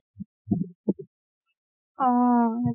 অ